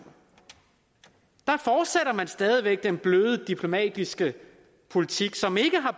der fortsætter man stadig væk den bløde diplomatiske politik som ikke har